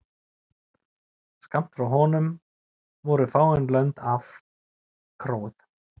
Skammt frá honum voru fáein lömb afkróuð.